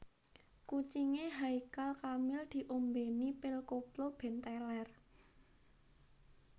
Kucinge Haykal Kamil diombeni pil koplo ben teler